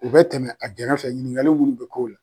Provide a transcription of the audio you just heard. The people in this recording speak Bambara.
U bɛ tɛmɛ a gɛrɛfɛ ɲininkali munnu bɛ k'o la